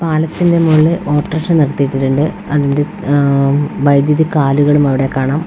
പാലത്തിന്റെ മോളില് ഓട്ടർഷ നിർത്തിയിട്ടിട്ടെണ്ട് അതിന്റെ - ആഹ് - വൈദ്യുതി കാലുകളും അവിടെ കാണാം .]